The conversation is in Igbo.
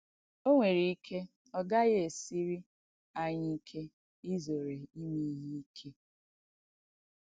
O nwèrè ìkè ọ̀ ghaàghì èsìrị̀ ànyị̣ ìkè ìzòrè ìmé ìhé ìkè.